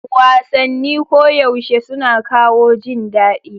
Wasanni koyaushe suna kawo jin daɗi.